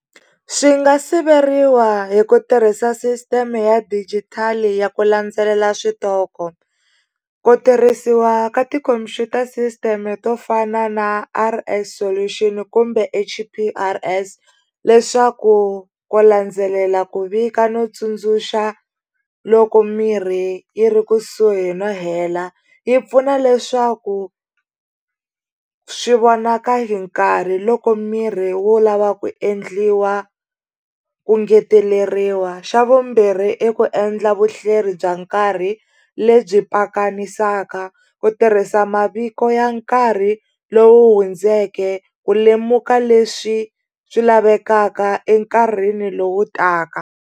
Swi nga siveriwa hi ku tirhisa sisiteme ya digital ya ku landzelela switoko ku tirhisiwa ka tikhompyuta system to fana na R_S solution kumbe H_P_R_ S leswaku ku landzelela ku vika no tsundzuxa loko mirhi yi ri kusuhi no hela yi pfuna leswaku swi vonaka hi nkarhi loko mirhi wu lava ku endliwa ku engeteleriwa xa vumbirhi i ku endla vuhleri bya nkarhi lebyi pakanisaka ku tirhisa maviko ya nkarhi lowu hundzeke ku lemuka leswi swi lavekaka enkarhini lowu taka.